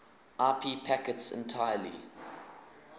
ip packets entirely